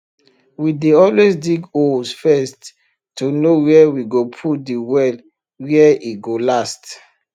we dey always dig holes first to know where we go put de well where e go last